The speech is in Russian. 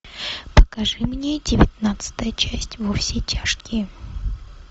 покажи мне девятнадцатая часть во все тяжкие